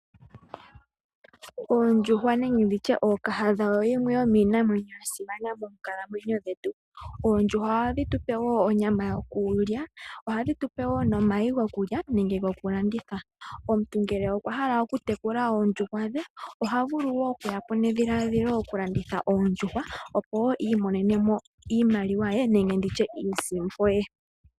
Oondjuhwa nenge ookahadha oyo yimwe yomiinamwenyo ya simana moonkalamwenyo dhetu. Oondjuhwa ohadhi tu pe wo onyama yokulya. Ohadhi tu pe wo omayi gokulya nenge gokulanditha. Omuntu ngele okwa hala okutekula oondjuhwa dhe oha vulu wo okuya po nedhiladhilo lyokulanditha, opo i imonene mo iimaliwa ye nenge iisimpo ye.